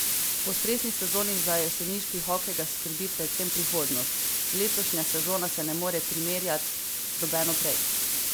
Po stresni sezoni za jeseniški hokej ga skrbi predvsem prihodnost: "Letošnja sezona se ne more primerjat z nobeno prej.